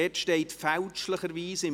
Im Programm steht fälschlicherweise «